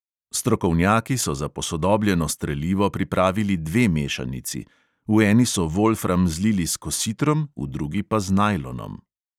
Strokovnjaki so za posodobljeno strelivo pripravili dve mešanici – v eni so volfram zlili s kositrom, v drugi pa z najlonom.